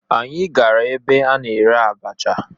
Anyị gara ebe a na-ere abacha